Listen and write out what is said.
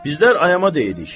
Bizlər ayama deyirik.